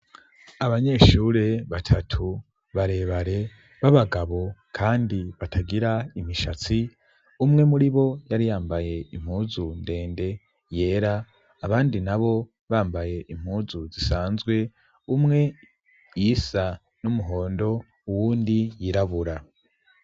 Abanyeshure batatu barebare b'abagabo kandi batagira imishatsi, umwe muri bo yari yambaye impuzu ndende yera, abandi nabo bambaye impuzu zisanzwe umwe iyisa n'umuhondo uwundi yirabura.